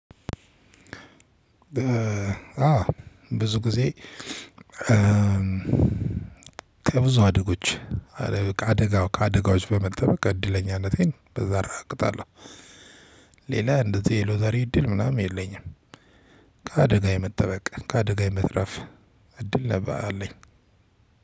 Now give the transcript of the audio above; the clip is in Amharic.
በ አ ብዙ ጊዜ ከብዙ አደጎች አደጋው ከአደጋዎች በመጠበቅ እድለኛነቴን በዛ አረጋግጣለሁ። ሌላ እንደዚህ የሎተሪ እድል ምናምን የለኝም። ከአደጋ የመጠበቅ ከአደጋ የመትረፍ እድል አለኝ።